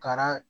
Kara